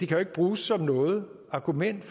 jo ikke bruges som noget argument